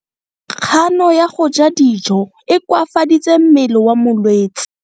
Kgano ya go ja dijo e koafaditse mmele wa molwetse.